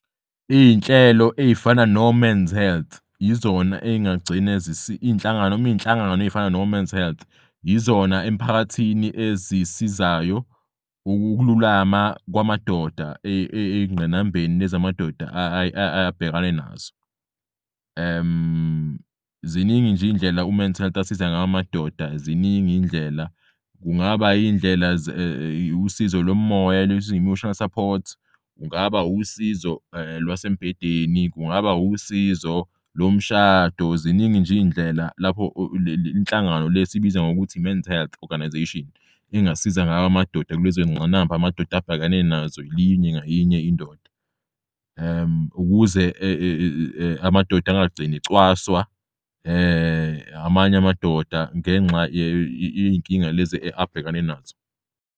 Iy'nhlelo ey'fana no-Mens Health yizona engagcina nom'iy'nhlangano ey'fana no-Mens Health yizona emiphakathini ezisizayo ukululama kwamadoda eyingqinambeni amadoda abhekane nazo. Ziningi nje iy'ndlela u-Mens Health asiza ngaw'amadoda kungaba usizo lomoya-emotional support, kungaba usizo lwase mbhedeni, kungaba usizo lomshado. Ziningi nje iy'ndlela lapho inhlangano le esiyibiza ngokuthi i-Mens Health Organization engasiza ngawo amadoda kulezongqinamba amadoda abhekane nazo linye ngayinye indoda ukuze amadoda angagcini ecwaswa amanye amadoda ngenxa yey'nkinga lezi abhekane nazo.